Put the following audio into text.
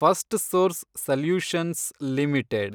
Firstsource solutions limited